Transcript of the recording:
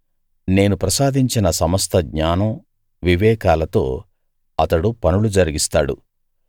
నేను ప్రసాదించిన సమస్త జ్ఞానం వివేకాలతో అతడు పనులు జరిగిస్తాడు